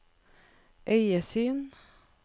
øyesyn